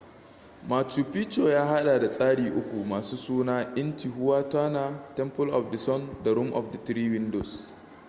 machu picchu ya hada da tsari uku masu suna intihuatana temple of the sun da room of the three windows